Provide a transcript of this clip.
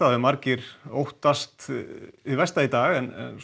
hafi margir óttast hið versta í dag